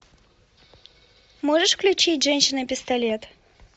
можешь включить женщина пистолет